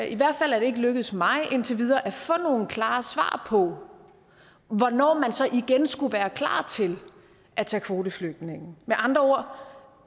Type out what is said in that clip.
i hvert fald ikke lykkedes mig indtil videre at få nogle klare svar på hvornår man så igen skulle være klar til at tage kvoteflygtninge med andre ord